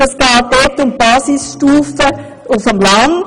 Dort geht es um Basisstufen auf dem Land.